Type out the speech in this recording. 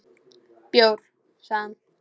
Bjór, sagði hann.